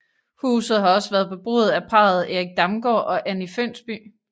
Huset har også været beboet af parret Erik Damgaard og Anni Fønsby